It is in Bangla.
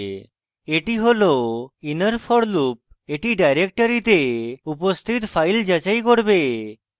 এটি হল inner for loop এটি ডাইরেক্টরীতে উপস্থিত files যাচাই করবে